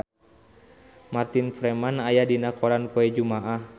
Martin Freeman aya dina koran poe Jumaah